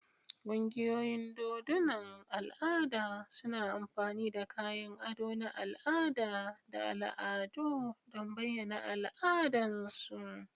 Ƙungiyoyin dodunan al'ada suna amfani da kayan ado na al'ada da al'adu don bayyana al'adunsu.